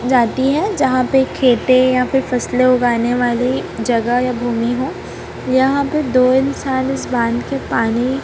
जाती है यहां पे खेते या फिर फसले उगने वाली जगह या भूमि हो यहां पर दो इंसान इस बांध के पानी--